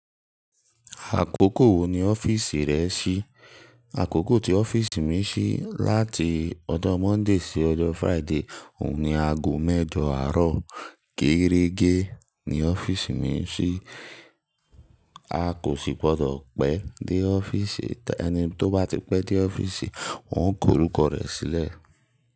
Àkókò wo ni ọ́fíìsì rẹ ṣí? Àkókò tí ọ́fíìsì mi ṣí láti ọjọ́ Monday sí ọjọ́ Friday. Òun ni ago mẹ́jọ àárọ̀. Kérége ni ọ́fíìsì mi ṣí. A kò sì gbọdọ̀ pẹ́ dé ọ́fíìsì. Ẹni tó bá ti pẹ́ dé ọ́fíìsì, wọ́n ó ko orúkọ rẹ sílẹ̀.